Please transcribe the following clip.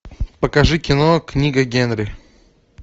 покажи кино книга генри